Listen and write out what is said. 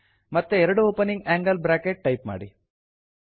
ಮತ್ತೆ ಎರಡು opening angle bracket type ಮಾಡಿ